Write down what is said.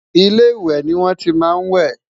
ilé ìwé ní wọn tí má n we